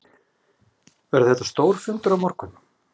Verður þetta stór fundur á morgun?